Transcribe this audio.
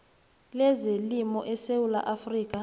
lezelimo esewula afrika